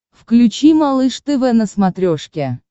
включи малыш тв на смотрешке